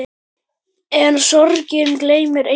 En sorgin gleymir engum.